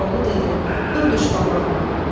Koroğlu dedi: Dur düş qabağıma.